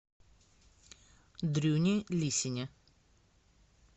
дрюне лисине